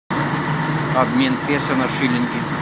обмен песо на шиллинги